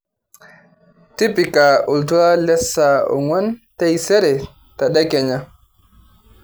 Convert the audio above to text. tipika oltuala le saa ong'uan taisere tedekenya